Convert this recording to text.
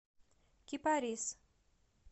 кипарис